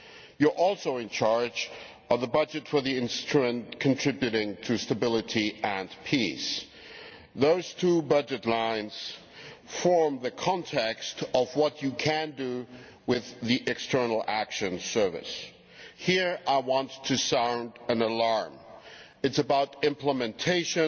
You are also in charge of the budget for the Instrument for Stability and Peace Those two budget lines form the context of what you can do with the External Action Service. Here I want to sound an alarm about the implementation